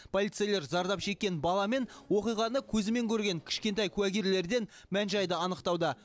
полицейлер зардап шеккен бала мен оқиғаны көзімен көрген кішкентай куәгерлерден мән жайды анықтауда